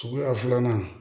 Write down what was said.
Suguya filanan